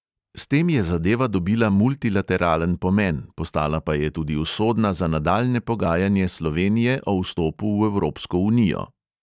S tem je zadeva dobila multilateralen pomen, postala pa je tudi usodna za nadaljnje pogajanje slovenije o vstopu v evropsko unijo.